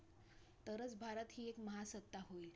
तरच, भारत ही एक महासत्ता होईल.